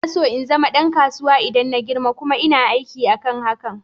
Ina so in zama ɗan kasuwa idan na girma, kuma ina aiki akan hakan.